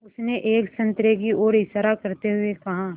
उसने एक संतरे की ओर इशारा करते हुए कहा